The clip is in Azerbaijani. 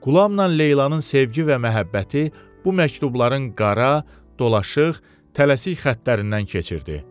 Qulamla Leylanın sevgi və məhəbbəti bu məktubların qara, dolaşıq, tələsik xəttlərindən keçirdi.